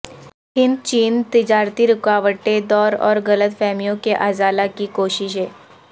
ہند چین تجارتی رکاوٹیں دور اور غلط فہمیوں کے ازالہ کی کوششیں